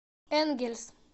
энгельс